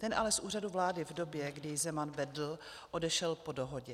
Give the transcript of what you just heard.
Ten ale z Úřadu vlády v době, kdy jej Zeman vedl, odešel po dohodě.